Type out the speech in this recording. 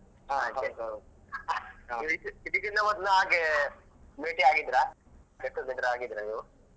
ಇದ್~ ಇದ್ಕಕಿಂತ ಮೊದ್ಲು ಹಾಗೆ ಭೇಟಿಯಾಗಿದ್ರಾ get together ಆಗಿದ್ರಾ ನೀವು?